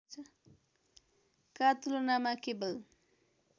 का तुलनामा केवल